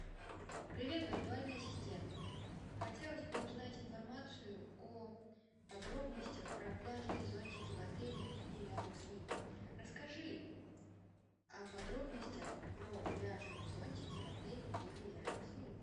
привет виртуальный ассистент хотелось бы узнать информацию о подробностях про пляжные зонтики в отеле или рядом с ним расскажи о подробностях про пляжные зонтики в отеле или рядом с ним